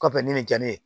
Kɔfɛ ni nin ja ne ye